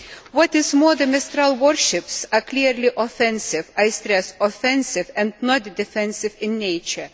What is more, the Mistral warships are clearly offensive I stress, offensive and not defensive in nature.